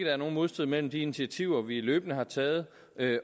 er nogen modstrid mellem de initiativer vi løbende har taget